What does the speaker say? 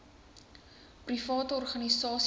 private organisasies ter